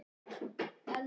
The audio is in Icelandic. Salli, hringdu í Bergnýju.